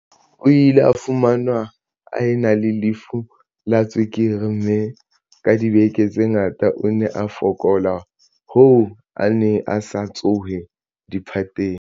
O ile a fumanwa a ena le lefu la tswekere, mme ka dibeke tse ngata o ne a fokola hoo a neng a sa tsohe diphateng.